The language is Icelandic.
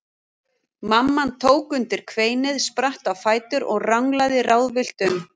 Mamman tók undir kveinið, spratt á fætur og ranglaði ráðvillt um.